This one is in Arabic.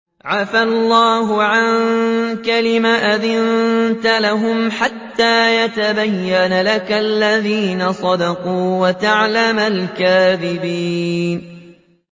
عَفَا اللَّهُ عَنكَ لِمَ أَذِنتَ لَهُمْ حَتَّىٰ يَتَبَيَّنَ لَكَ الَّذِينَ صَدَقُوا وَتَعْلَمَ الْكَاذِبِينَ